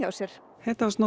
sér